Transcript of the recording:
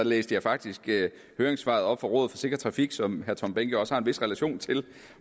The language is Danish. læste jeg faktisk høringssvaret fra rådet for sikker trafik som herre tom behnke også har en vis relation til